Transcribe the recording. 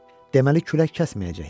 Deməli külək kəsməyəcəkdi.